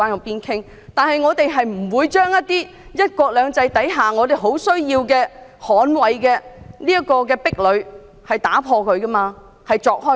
然而，我們不會將"一國兩制"下亟需捍衞的壁壘打破、鑿開。